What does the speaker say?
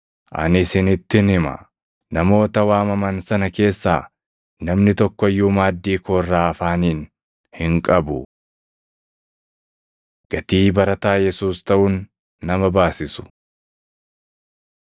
Ani isinittin hima; namoota waamaman sana keessaa namni tokko iyyuu maaddii koo irraa afaaniin hin qabu.’ ” Gatii Barataa Yesuus Taʼuun Nama Baasisu